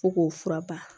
Fo k'o fura ba